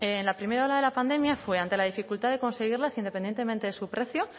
en la primera ola de la pandemia fue ante la dificultad de conseguirlas independientemente de su precio